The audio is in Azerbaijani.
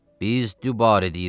Biz dübarə deyirəm.